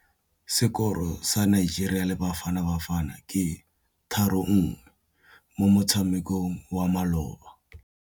Sekôrô sa Nigeria le Bafanabafana ke 3-1 mo motshamekong wa malôba.